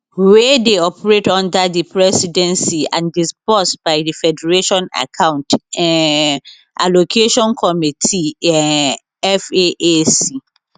wey dey operate under di presidency and disbursed by di federation account um allocation committee um faac